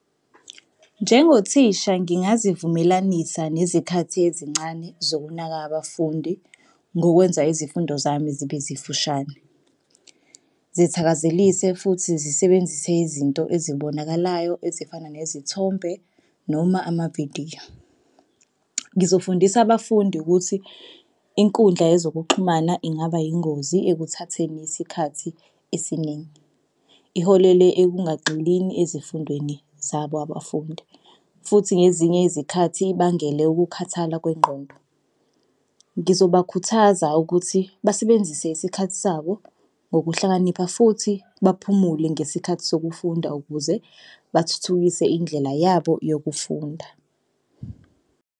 Njengothisha ngingazivumelanisa nezikhathi ezincane zokunaka abafundi ngokwenza izifundo zami zibe zifushane, zithakazelise futhi zisebenzise izinto ezibonakalayo ezifana nezithombe noma amavidiyo. Ngizofundisa abafundi ukuthi inkundla yezokuxhumana ingaba yingozi ekuthatheni isikhathi esiningi. Iholele ekungaxhilini ezifundweni zabo abafundi futhi ngezinye izikhathi ibangele ukukhathala kwengqondo. Ngizobakhuthaza ukuthi basebenzise isikhathi sabo ngokuhlakanipha futhi baphumule ngesikhathi sokufunda ukuze bathuthukise indlela yabo yokufunda.